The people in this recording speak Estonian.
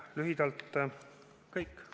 Lühidalt kõik.